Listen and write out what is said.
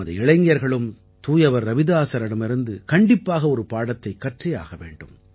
நமது இளைஞர்களும் தூயவர் ரவிதாஸரிடமிருந்து கண்டிப்பாக ஒரு பாடத்தைக் கற்றே ஆக வேண்டும்